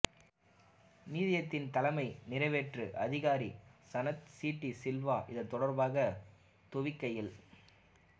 நிதியத்தின் தலைமை நிறைவேற்று அதிகாரி சனத் சி டி சில்வா இதுதொடர்பாக தொவிக்கையில்